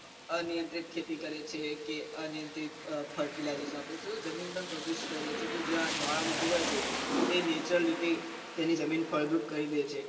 અનિયંત્રિત ખેતી કરે છે કે અનિયંત્રિત fertilizer વાપરે છે તો જમીન પણ પ્રદુષિત થઇ રહે છે તો જ્યાં જવાળામુખી હોય છે તો તે nature રીતે તેની જમીન ફળદ્રુપ કરી દે છે